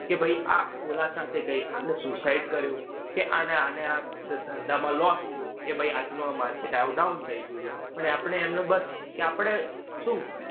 કે ભાઈ આ ઓલા સાથે ગઈ. આણે suicide કર્યું, કે આને આના આ ધંધામાં lose થયું, કે ભાઈ આજનું આ market down થઇ ગયું છે. પણ આપણે એમને બસ કે આપણે શું?